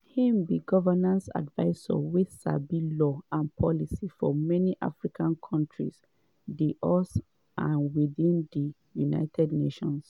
im be governance advisor wey sabi law and policy for many african kontris di us and within di united nations.